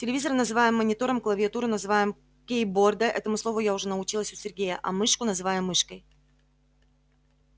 телевизор называем монитором клавиатуру называем кейбордой этому слову я уже научилась у сергея а мышку называем мышкой